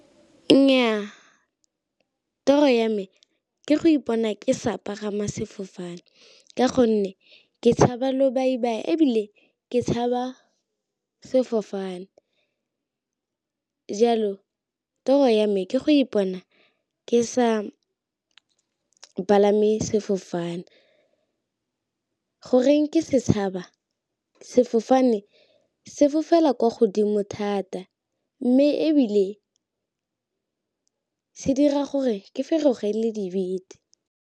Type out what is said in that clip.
Nnyaa, toro ya me ke go ipona ke sa pagama sefofane, ka gonne ke tshabe lobaibai ebile ke tshaba sefofane. Jalo toro ya me ke go ipona ke sa palame sefofane. Goreng ke se tshaba? Sefofane se fofela kwa godimo thata, mme ebile se dira gore ke feroge le dibete.